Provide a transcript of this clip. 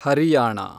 Haryana